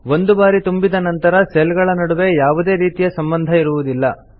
ಒಂದು ಬಾರಿ ತುಂಬಿದ ನಂತರ ಸೆಲ್ ಗಳ ನಡುವೆ ಯಾವುದೇ ರೀತಿಯ ಸಂಭಂದ ಇರುವುದಿಲ್ಲ